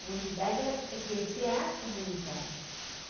Comunidade, ela precisa crescer a comunidade.